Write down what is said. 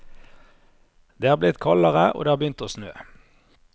Det er blitt kaldere, og det har begynt å snø.